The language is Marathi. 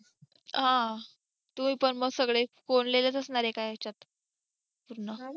ह तुम्ही पण मग सगळे कोंडलेलेच असणार एका ह्याच्यात पूर्ण